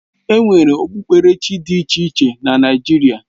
Enwere ekpukpere chi dị iche iche na Naijiria